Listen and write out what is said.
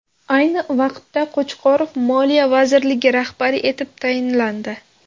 Ayni vaqtda, Qo‘chqorov Moliya vazirligi rahbari etib tayinlandi .